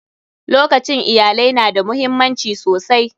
Lokacin iyalai na da muhimmanci sosai.